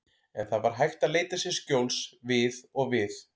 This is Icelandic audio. En það var hægt að leita sér skjóls við og við.